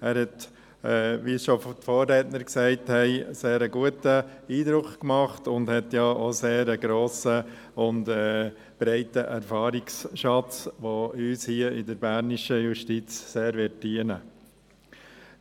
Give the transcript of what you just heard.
Er hat, wie es schon die Vorredner gesagt haben, einen sehr guten Eindruck gemacht und verfügt auch einen sehr grossen und breiten Erfahrungsschatz, der uns hier in der bernischen Justiz sehr dienen